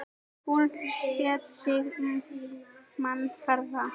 Hún lét sig mann varða.